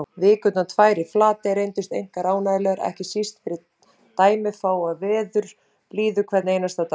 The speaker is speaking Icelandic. Vikurnar tvær í Flatey reyndust einkar ánægjulegar, ekki síst fyrir dæmafáa veðurblíðu hvern einasta dag.